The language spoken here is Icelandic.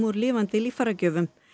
úr lifandi líffæragjöfum